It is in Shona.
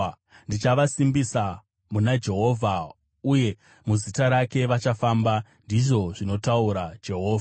Ndichavasimbisa muna Jehovha uye muzita rake vachafamba,” ndizvo zvinotaura Jehovha.